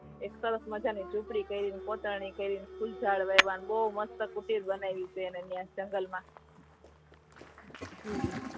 એક સરસ મજા ની ઝોપડી કરી ની પોતાની કરી ની ફુલ ઝાડ વાઇવા બહૂ મસ્ત કૂટીર બનાઈ છે ને ત્યા જંગલ માં